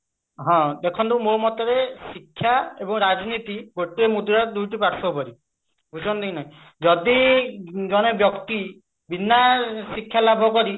ହଁ ଦେଖନ୍ତୁ ମୋ ମତରେ ଶିକ୍ଷା ଏବଂ ରାଜନୀତି ଗୋଟିଏ ମୁଦ୍ରାରେ ଦୁଇଟି ପାର୍ଶ୍ଵ ପରି ବୁଝୁଛନ୍ତି କି ନାଇଁ ଯଦି ଜଣେ ବ୍ୟକ୍ତି ବିନା ଶିକ୍ଷା ଲାଭ କରି